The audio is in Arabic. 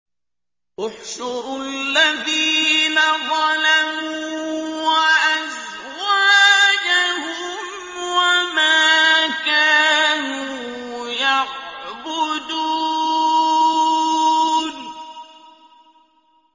۞ احْشُرُوا الَّذِينَ ظَلَمُوا وَأَزْوَاجَهُمْ وَمَا كَانُوا يَعْبُدُونَ